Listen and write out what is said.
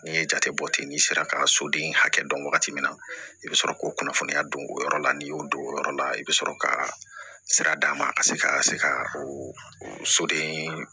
N'i ye jate bɔ ten n'i sera ka soden hakɛ dɔn wagati min na i bɛ sɔrɔ k'o kunnafoniya don o yɔrɔ la n'i y'o don o yɔrɔ la i bɛ sɔrɔ ka sira d'a ma a ka se ka se ka soden